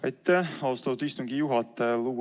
Aitäh, austatud istungi juhataja!